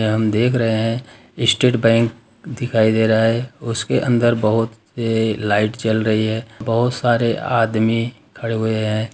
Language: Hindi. हम देख रहे है स्टेट बैंक दिखाई दे रहा है उसके अंदर बहुत लाइट जल रही है बहुत सारे आदमी खड़े हुए हैं।